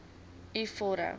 u vorm